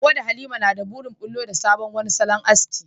Hawwa da Halima na da burin bullo da wani sabon salon aski.